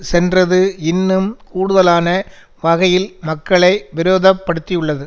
சென்றதுஇன்னும் கூடுதலான வகையில் மக்களை விரோதப்படுத்தியுள்ளது